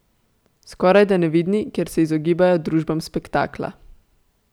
Skorajda nevidni, ker se izogibajo družbam spektakla.